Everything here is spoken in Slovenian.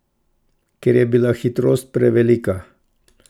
Ker je bila hitrost prevelika.